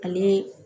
Ani